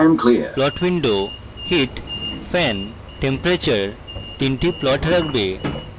plot window heat fan temperature তিনটি plot রাখবে